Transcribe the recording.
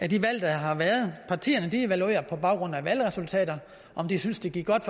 de valg der har været partierne evaluerer på baggrund af valgresultaterne om de synes det gik godt